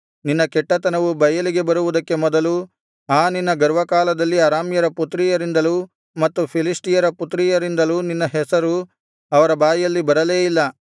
ನಿನ್ನ ಕೆಟ್ಟತನವು ಬಯಲಿಗೆ ಬರುವುದಕ್ಕೆ ಮೊದಲು ಆ ನಿನ್ನ ಗರ್ವಕಾಲದಲ್ಲಿ ಅರಾಮ್ಯರ ಪುತ್ರಿಯರಿಂದಲೂ ಮತ್ತು ಫಿಲಿಷ್ಟಿಯರ ಪುತ್ರಿಯರಿಂದಲೂ ನಿನ್ನ ಹೆಸರು ಅವರ ಬಾಯಲ್ಲಿ ಬರಲೇ ಇಲ್ಲ